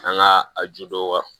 An ka a ju dɔ